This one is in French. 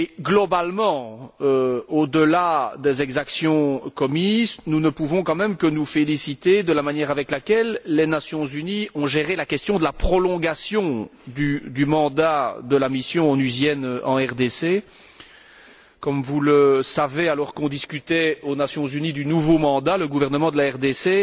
Globalement, au delà des exactions commises, nous ne pouvons quand même que nous féliciter de la manière dont les Nations unies ont géré la question de la prolongation du mandat de la mission onusienne en RDC. Comme vous le savez, alors qu'on discutait aux Nations unies du nouveau mandat, le gouvernement de la RDC